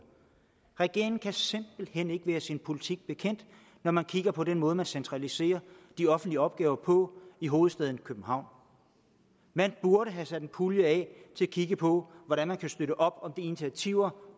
regeringen kan simpelt hen ikke være sin politik bekendt når man kigger på den måde man centraliserer de offentlige opgaver på i hovedstaden københavn man burde have sat en pulje af til at kigge på hvordan man kan støtte op om de initiativer